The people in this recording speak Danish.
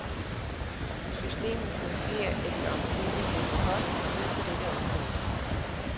Systemet fungerer efter omstændighederne godt nu på dette område.